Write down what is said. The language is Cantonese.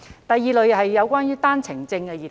第二類是單程證兒童。